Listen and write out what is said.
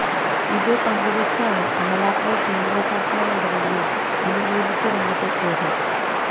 ഇത് പങ്കുവെച്ചാണ് അമല പോൾ കേന്ദ്രസർക്കാർ നടപടിയെ അനുകൂലിച്ച് രംഗത്തെത്തിയത്